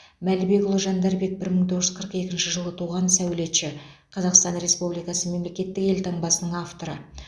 мәлібекұлы жандарбек бір мың тоғыз жүз қырық екінші жылы туған сәулетші қазақстан республикасы мемлекеттік елтаңбасының авторы